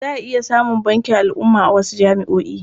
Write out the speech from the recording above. Za a iya samun bankin al'umma a wasu jami'o'i.